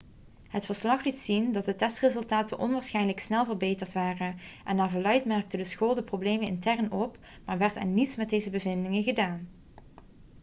het verslag liet zien dat de testresultaten onwaarschijnlijk snel verbeterd waren en naar verluidt merkte de school de problemen intern op maar werd er niets met deze bevindingen gedaan